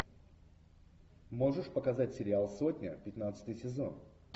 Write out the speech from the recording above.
можешь показать сериал сотня пятнадцатый сезон